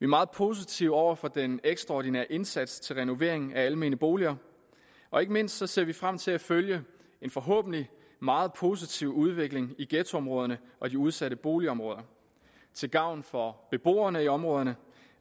meget positive over for den ekstraordinære indsats til renovering af almene boliger og ikke mindst ser vi frem til at følge en forhåbentlig meget positiv udvikling i ghettoområderne og de udsatte boligområder til gavn for beboerne i områderne